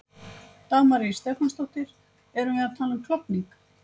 Dagmar Ýr Stefánsdóttir: Erum við að tala um klofning?